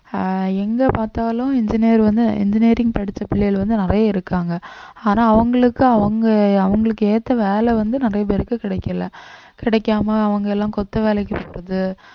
ஆஹ் எங்க பார்த்தாலும் engineer வந்து engineering படிச்ச பிள்ளைகள் வந்து நிறைய இருக்காங்க ஆனா அவங்களுக்கு அவங்க அவங்களுக்கு ஏத்த வேலை வந்து நிறைய பேருக்கு கிடைக்கலை கிடைக்காம அவங்களை எல்லாம் கொத்து வேலைக்கு போறது